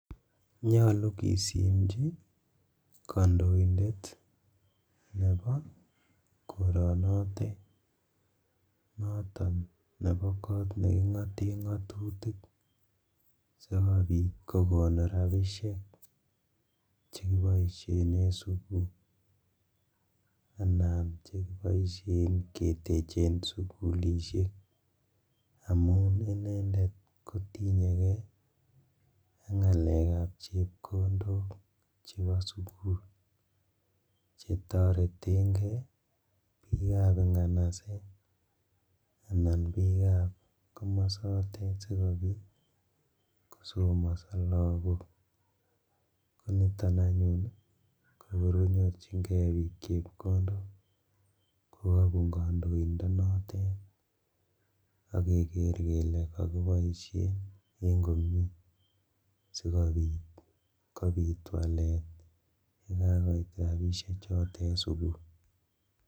Nyolu kisimji kondoindet nebo koronotet noton nebo kot nekingoten ngatutik sikobit kokon rabishek chekiboishen en sugul anan chekiboishen ketechen sugulishek amun inendet kotinye kee ak ngalekab chepkondok chebo sugul chetoretengee bikab inganaset anan bikab komosotet sikobit kosomoso lagok, konito anyun kokor konyorjingee bik chepkondok kokobun kondoindonotet ak keker kele kokiboishen en komie sikobit kobitwalet yekakoit rabishechotet sugul.